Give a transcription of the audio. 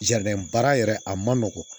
baara yɛrɛ a man nɔgɔn